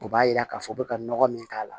O b'a yira k'a fɔ u bɛ ka nɔgɔ min k'a la